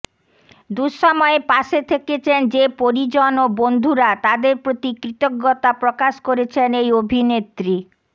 দুঃসময়ে পাশে থেকেছেন যে পরিজন ও বন্ধুরা তাঁদের প্রতি কৃতজ্ঞতা প্রকাশ করেছেন এই অভিনেত্রী